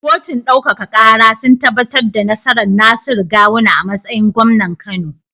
Kotun ɗaukaka kara sun tabbatar da nasarar Nasiru gawuna a matsayin gwamnan kano